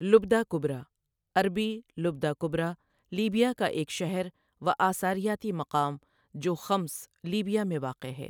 لبدہ کبری عربی لبدة الكبرى لیبیا کا ایک شہر و آثاریاتی مقام جو خمس، لیبیا میں واقع ہے۔